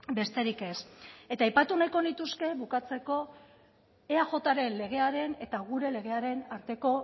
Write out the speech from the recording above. besterik ez eta aipatu nahiko nituzke bukatzeko eajren legearen eta gure legearen arteko